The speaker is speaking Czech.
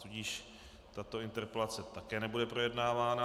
Tudíž tato interpelace také nebude projednávána.